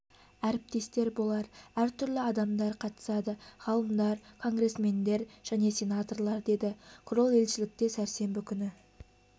әріптестер болар әр түрлі адамдар қатысады ғалымдар конгресмендер мен сенаторлар деді крол елшілікте сәрсенбі күні